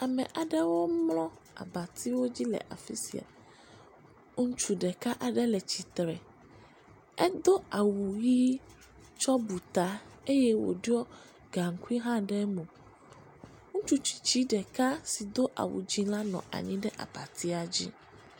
Ame aɖewo mlɔ abatiwo dzi le afi sia, ŋutsu ɖeka aɖe le tsitre, edo awu ʋɛ̃ tsɔ bu ta eye wòɖɔ gaŋkui hã ɖe eme, ŋutsu tsitsi ɖeka si do awu dzɛ̃ la nɔ anyi ɖe abatia dzi.